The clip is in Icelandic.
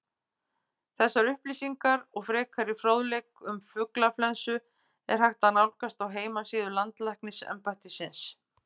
Þessar upplýsingar og frekari fróðleik um fuglaflensu er hægt að nálgast á heimasíðu Landlæknisembættisins.